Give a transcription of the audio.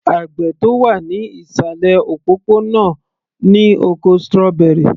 Àgbẹ̀ tó wà ní ìsàlẹ̀ òpópó-ònà náà ní oko strawberry